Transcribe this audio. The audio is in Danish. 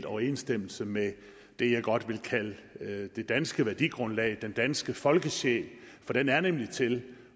overensstemmelse med det jeg godt vil kalde det danske værdigrundlag den danske folkesjæl for den er nemlig til